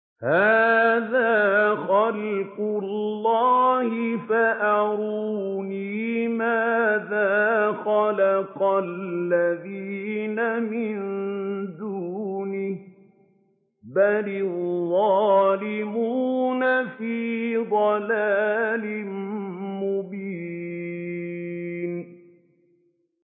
هَٰذَا خَلْقُ اللَّهِ فَأَرُونِي مَاذَا خَلَقَ الَّذِينَ مِن دُونِهِ ۚ بَلِ الظَّالِمُونَ فِي ضَلَالٍ مُّبِينٍ